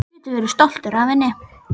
Þú getur verið stoltur af henni.